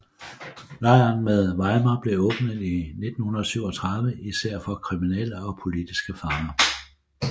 Lejren ved Weimar blev åbnet i 1937 især for kriminelle og politiske fanger